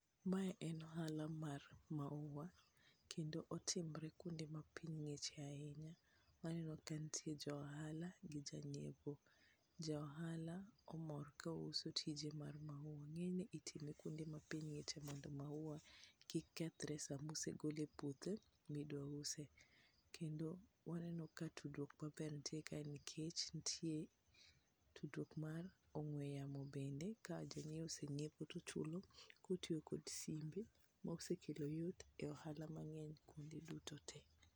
Mae en ohala mar maua kendo otimre kuonde ma piny ngiche ahinya, waneno ka nitie johala gi janyiepo ,ja ohala omor ka uso tije mar maua, ng'enyne itime kuonde ma ppiny ng'iche mondo maua kik kethre sama osegole e puodho midwa use. Kendo waneno ka tudruok maber nitie kae nikech nitie tudruok mar ong'ue yamo be ka jong'iewo osenyiepo to ochudo kod simbe ma osekelo yot e ohala mang'eny kuonde duto te.